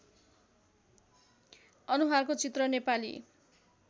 अनुहारको चित्र नेपाली